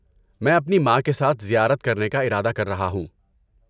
میں اپنی ماں کے ساتھ زیارت کرنے کا ارادہ کررہا ہوں۔